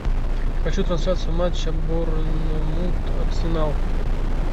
хочу трансляцию матча борнмут арсенал